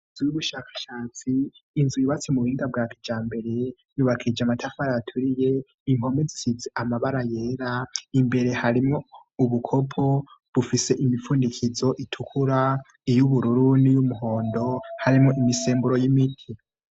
Inzu y'ubushakashatsi, n'inzu yubatse mu buhinga bwa kijambere, yubakishije amatafari aturiye, impome zisize amabara yera, imbere harimwo ubukopo bufise imifundikizo itukura, iy'ubururu, niy'umuhondo, harimwo imisemburo y'imiti.